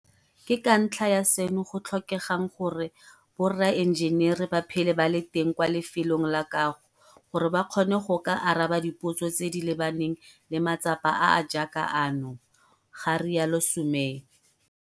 Ke ka ntlha ya seno go tlhokegang gore boraenjenere ba phele ba le teng kwa lefelong la kago gore ba kgone go ka araba dipotso tse di lebaneng le matsapa a a jaaka ano, ga rialo Sumay.